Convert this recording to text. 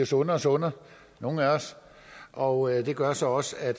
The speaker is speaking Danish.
sundere og sundere nogle af os og det gør så også